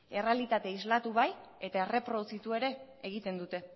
errealitatea islatu bai eta erreproduzitu ere egiten dute